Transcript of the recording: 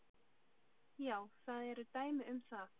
Já, það eru dæmi um það.